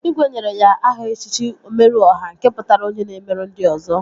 Igwe nyere ya aha echichi Omeru Ọha nke pụtara onye na-emere ndị ọzọ